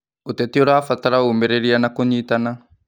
Ũteti ũrabatara ũmĩrĩria na kũnyitana.